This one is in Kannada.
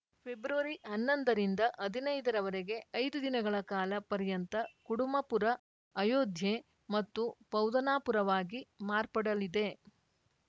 ಫೆಬ್ರವರಿಹನ್ನೊಂದರಿಂದ ಹದಿನೈದರ ವರೆಗೆ ಐದು ದಿನಗಳ ಕಾಲ ಪರ್ಯಂತ ಕುಡುಮಪುರ ಅಯೋಧ್ಯೆ ಮತ್ತು ಪೌದನಾಪುರವಾಗಿ ಮಾರ್ಪಡಲಿದೆ